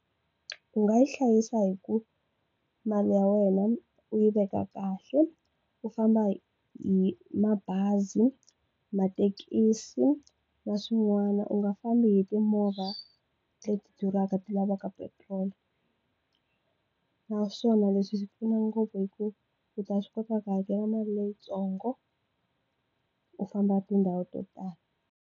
U nga yi hlayisa hi ku mali ya wena u yi veka kahle u famba hi mabazi mathekisi na swin'wana u nga fambi hi timovha leti duraka ti lavaka petrol naswona leswi swi pfuna ngopfu hi ku u ta swi kota ku hakela mali leyitsongo u famba tindhawu to tala.